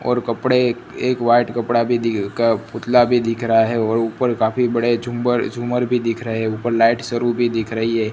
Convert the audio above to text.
और कपड़े एक वाइट कपड़ा का पुतला भी दिख रहा है और ऊपर काफी बड़े झूमर झूमर भी दिख रहा है ऊपर लाइट स्वरू भी दिख रही है।